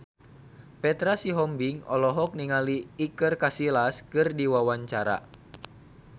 Petra Sihombing olohok ningali Iker Casillas keur diwawancara